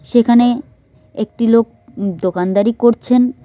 সেখানে একটি লোক দো-দোকানদারি করছেন।